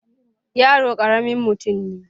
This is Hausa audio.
yaro karamin mutum ne